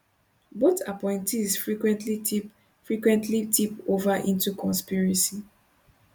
both appointees frequently tip frequently tip ova into conspiracy